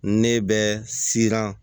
Ne bɛ siran